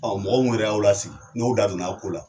Ɔ mɔgɔ minnu yɛrɛ y'aw la n'o da donna a ko la